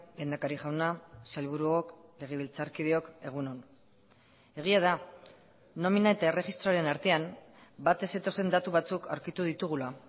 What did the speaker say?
lehendakari jauna sailburuok legebiltzarkideok egun on egia da nomina eta erregistroaren artean bat ez zetozen datu batzuk aurkitu ditugula